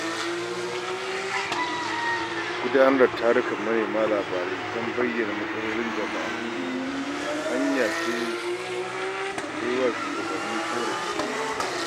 Gudanar da tarukan manema labarai don bayyana matsalolin jama’a hanya ce ta yi wa shugabanni ƙorafi.